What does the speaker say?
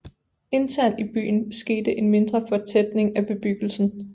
Internt i byen skete en mindre fortætning af bebyggelsen